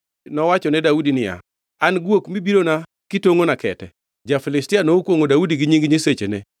Nowachone Daudi niya, “An guok mibirona kitongʼona kete?” Ja-Filistia nokwongʼo Daudi gi nying nyisechene.